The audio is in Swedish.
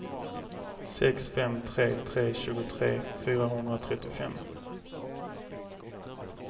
sex fem tre tre tjugotre fyrahundratrettiofem